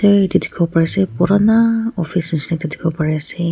dikhiwo pari ase purana office nishina dikhiwo pari ase.